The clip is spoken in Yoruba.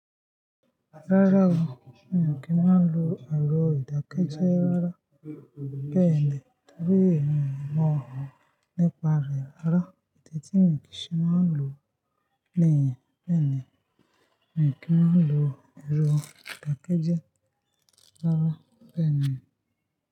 Rárá o, mi ò kí máa lo ẹ̀rọ ìdákẹ́jẹ́ rárá. Bẹ́ẹ̀ ni, torí mi ò mọ nípa rẹ̀ rárá. Idi tí mo kí ṣe máa ń lò ni yẹ́n. Bẹ́ẹ̀ ni, mi ò kí máa n lo ẹ̀rọ ìdákẹ́jẹ́ rárá. Bẹ́ẹ̀ ni.